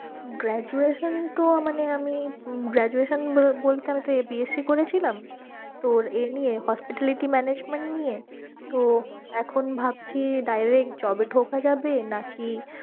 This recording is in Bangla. Graduation তো মানে আমি graduation বলতে আমি তো B. sc করেছিলাম তোর ইয়ে নিয়ে hospitality management নিয়ে তো এখন ভাবছি direct job এ ঢোকা যাবে নাকি